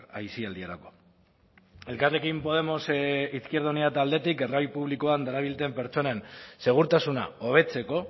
aisialdirako elkarrekin podemos izquierda unida taldetik garraio publikoan darabilten pertsonen segurtasuna hobetzeko